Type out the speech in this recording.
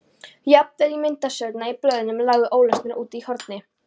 Jafnvel myndasögurnar í blöðunum lágu ólesnar úti í horni.